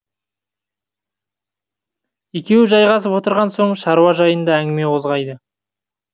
екеуі жайғасып отырған соң шаруа жайында әңгіме қозғайды